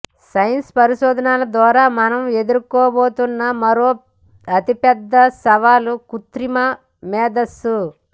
science పరిశోధనాల ద్వారా మనం ఎదుర్కోబోతున్న మరో అతి పెద్ద సవాలు కృత్రిమ మేధస్సు